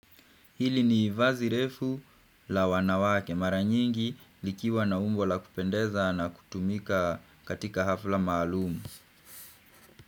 Hili ni vazi refu la wanawake mara nyingi likiwa na umbo la kupendeza na kutumika katika hafla maalumu.